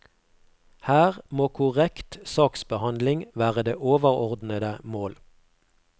Her må korrekt saksbehandling være det overordnede mål.